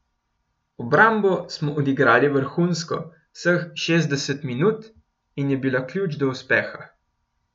Obrambo smo odigrali vrhunsko vseh šestdeset minut in je bila ključ do uspeha.